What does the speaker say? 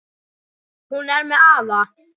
Hún er með afa.